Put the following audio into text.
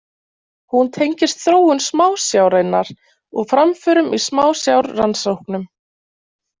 Hún tengist þróun smásjárinnar og framförum í smásjárrannsóknum.